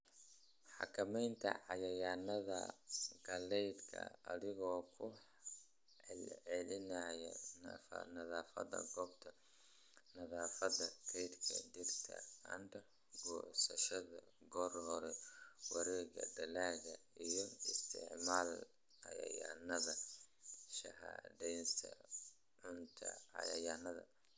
"Xakamaynta cayayaannada galleyda adigoo ku celcelinaya nadaafadda goobta, nadaafadda kaydka, dhirta & goosashada goor hore, wareegga dalagga & isticmaal cayayaannada shahaadeysan & sunta cayayaanka."